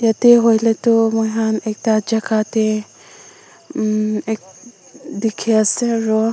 yate hoile tu moihan ekta jaka te um ek dekhe ase aro.